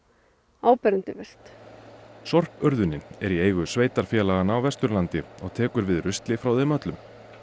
áberandi verst sorpurðunin er í eigu sveitarfélaganna á Vesturlandi og tekur við rusli frá þeim öllum